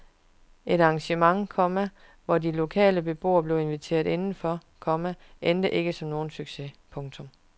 Et arrangement, komma hvor de lokale beboere blev inviteret indenfor, komma endte ikke som nogen succes. punktum